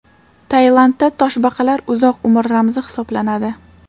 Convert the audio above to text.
Tailandda toshbaqalar uzoq umr ramzi hisoblanadi.